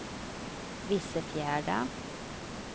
Vissefjärda